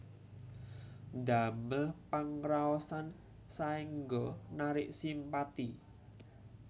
Ndamel pangraosan saéngga narik simpati